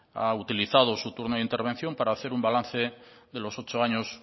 ha utilizado su turno de intervención para hacer un balance de los ocho años